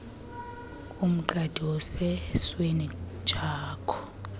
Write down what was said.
umqadi osesweni jakho